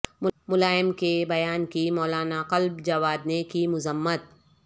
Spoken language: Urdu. ملائم کے بیان کی مولانا کلب جواد نے کی مذمت